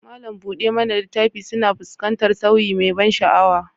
Malam buɗe mana littafi suna fuskantar sauyi mai ban sha'awa